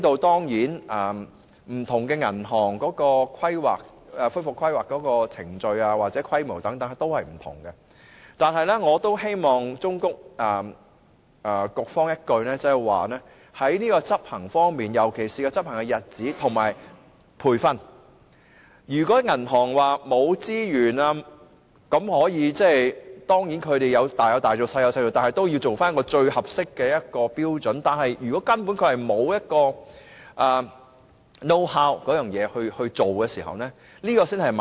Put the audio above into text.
當然，不同銀行的恢復規劃程序或規模均有所不同，但我希望忠告局方，在執行方面，尤其是執行的日子和培訓，要因應銀行的資源，雖然可以多有多做、少有少做，但局方也應訂定一個最合適的標準，而如果銀行根本沒有這方面的認識，才是問題所在。